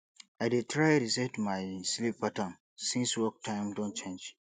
i dey try reset my sleep pattern since work time don change